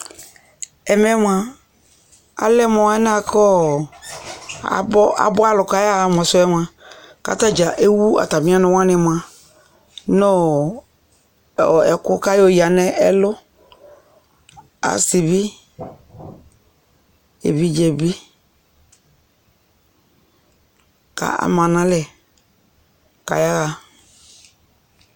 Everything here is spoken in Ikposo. Ɛmɛ moa, alɛ moa lɛ boa kʋ ɔ abɔ alʋ boa kʋ ayaɣa sʋ ɛ moa kʋ atadza ewu atami ɔnʋ wani moa nʋ ɛkʋ kʋ ayɔya nʋ ɛlʋ, asi bi, evidze bi kʋ ama nalɛ kʋ ayaɣa